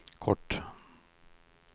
kort